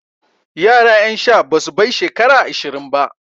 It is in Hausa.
Yara ƴan sha basu bai shekara ashirin ba.